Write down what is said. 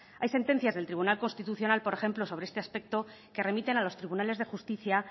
hay sentencias del tribunal constitucional por ejemplo sobre este aspecto que remiten a los tribunales de justicia